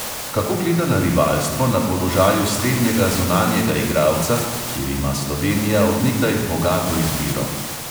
Kako gleda na rivalstvo na položaju srednjega zunanjega igralca, kjer ima slovenija od nekdaj bogato izbiro?